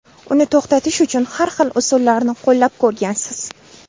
Uni to‘xtatish uchun har xil usullarni qo‘llab ko‘rgansiz.